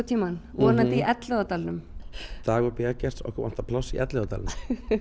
vonandi í Elliðaárdalnum dagur b Eggerts okkur vantar pláss í Elliðaárdalnum